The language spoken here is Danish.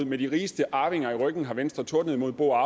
med de rigeste arvinger i ryggen har venstre tordnet imod bo og